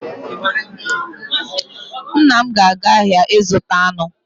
Nna m ga-aga ahịa ịzụta anụ